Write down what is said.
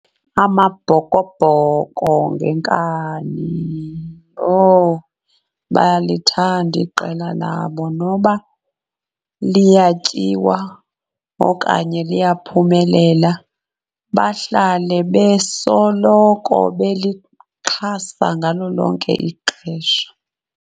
Amabhokobhoko ngenkani, owu bayalithanda iqela labo noba liyatyiwa okanye liyaphumelela, bahlale besoloko belixhasa ngalo lonke ixesha.